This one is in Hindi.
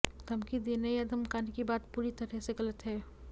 धमकी देने या धमकाने की बात पूरी तरह से गलत है